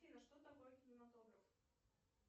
афина что такое кинематограф